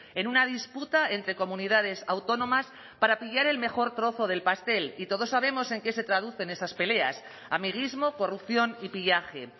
en una disputa entre comunidades autónomas para pillar el mejor trozo del pastel y todos sabemos en qué se traducen esas peleas amiguismo corrupción y pillaje